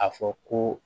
A fɔ ko